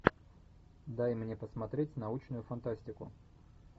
дай мне посмотреть научную фантастику